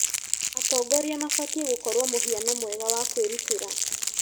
Atongoria mabatiĩ gũkorwo mũhiano mwega wa kwĩrutĩra.